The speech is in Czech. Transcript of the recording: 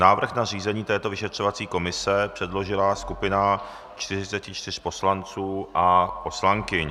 Návrh na zřízení této vyšetřovací komise předložila skupina 44 poslanců a poslankyň.